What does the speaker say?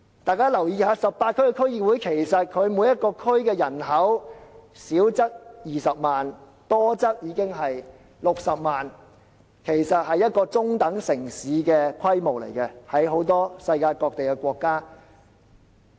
大家留意一下 ，18 區區議會每個地區的人口，少則有20萬人，多則高達60萬人，在世界各地很多國家，這已是一個中等城市的規模。